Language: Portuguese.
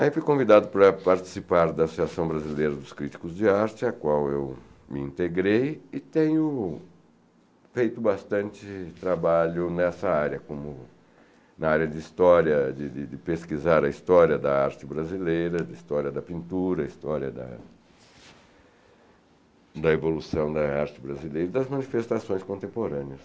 Aí fui convidado para participar da Associação Brasileira dos Críticos de Arte, a qual eu me integrei, e tenho feito bastante trabalho nessa área, como na área de história, de de de pesquisar a história da arte brasileira, de história da pintura, história da... da evolução da arte brasileira e das manifestações contemporâneas.